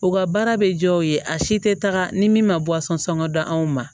U ka baara bɛ jɔ u ye a si tɛ taga ni min ma sɔngɔ da anw ma